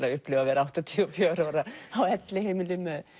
að upplifa að verða áttatíu og fjögurra ára á elliheimili með